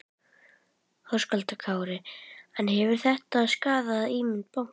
Höskuldur Kári: En hefur þetta skaðað ímynd bankans?